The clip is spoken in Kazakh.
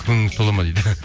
көңіліңіз толады ма дейді